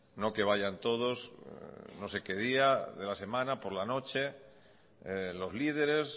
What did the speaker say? no que vayan todos no sé que día de la semana por la noche los líderes